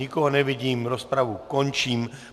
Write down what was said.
Nikoho nevidím, rozpravu končím.